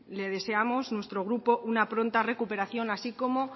le deseamos nuestro grupo una pronta recuperación así como